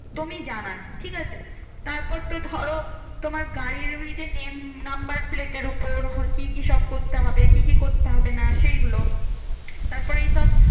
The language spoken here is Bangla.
একদমই জানা নেই ঠিকাছে? তারপর তো ধরো, তোমার গাড়ির ওই যে name number plate এর উপর কি কি সব করতে হবে? কি কি করতে হবে না? সেইগুলো তারপর এই সব